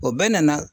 O bɛɛ nana